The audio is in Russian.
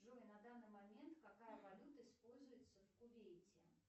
джой на данный момент какая валюта используется в кувейте